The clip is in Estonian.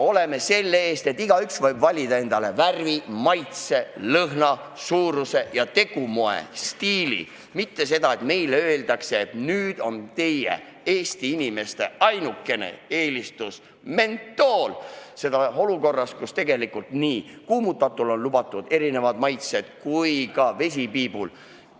Me seisame selle eest, et igaüks võib valida endale värvi, maitse, lõhna, suuruse, tegumoe ja stiili, mitte nii, et meile öeldakse, et nüüd olgu Eesti inimeste ainukene eelistus mentool, ja seda olukorras, kus tegelikult on kuumutatavatel toodetel lubatud erinevad maitsed ja vesipiibul ka.